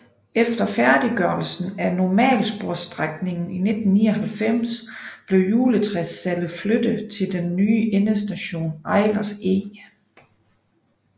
Efter færdiggørelsen af normalsporsstrækningen i 1999 blev juletræssalget flyttet til den nye endestation Eilers Eg